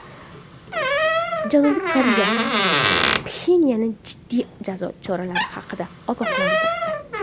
Janubiy Koreya Pxenyanni jiddiy jazo choralari haqida ogohlantirdi.